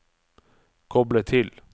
koble til